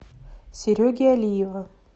сереги алиева